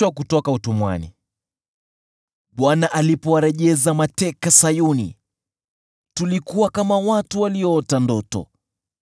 Bwana alipowarejeza mateka Sayuni, tulikuwa kama watu walioota ndoto.